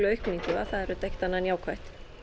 aukningu og það er auðvitað ekkert annað en jákvætt